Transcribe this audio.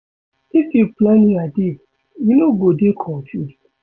If you plan your day, you no go dey confused.